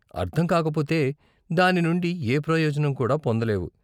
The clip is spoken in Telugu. అర్థం కాకపోతే దాని నుండి ఏ ప్రయోజనం కూడా పొందలేవు.